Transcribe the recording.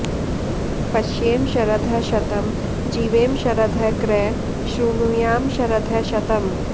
पश्येम शरदः शतं जीवेम शरदः कृ श्रुणुयाम शरदः शतम्